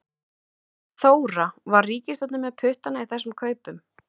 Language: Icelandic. Þóra: Var ríkisstjórnin með puttana í þessum kaupum?